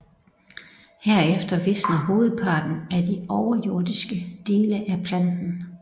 Herefter visner hovedparten af de overjordiske dele af planten